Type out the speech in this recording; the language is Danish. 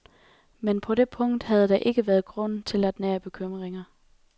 Men på det punkt havde der ikke været grund til at nære bekymringer.